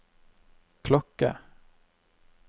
klokke